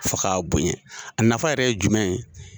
Fo k'a bonya, a nafa yɛrɛ ye jumɛn ye ?